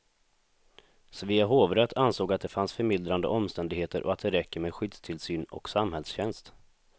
Svea hovrätt ansåg att det fanns förmildrande omständigheter och att det räcker med skyddstillsyn och samhällstjänst.